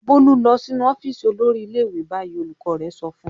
"Bólú lọ sínú ọ́fíísì olórí ilé-ìwé báyìí!" Olùkọ́ rẹ̀ sọ fún un.